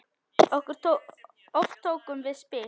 Oft tókum við spil.